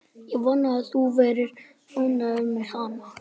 Ég vona að þú verðir ánægður með hana.